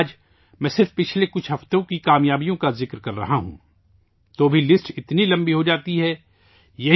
لیکن، آج میں صرف پچھلے چند ہفتوں کی کامیابیوں کا ذکر کر رہا ہوں، تو بھی فہرست اتنی لمبی ہو جاتی ہے